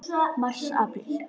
Mars Apríl